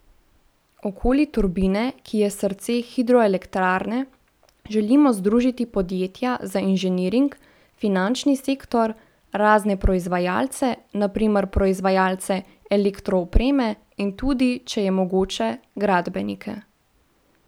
Okoli turbine, ki je srce hidroelektrarne, želimo združiti podjetja za inženiring, finančni sektor, razne proizvajalce, na primer proizvajalce elektroopreme in tudi, če je mogoče, gradbenike.